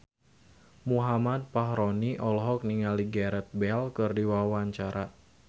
Muhammad Fachroni olohok ningali Gareth Bale keur diwawancara